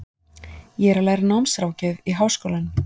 Ég er að læra námsráðgjöf í Háskólanum.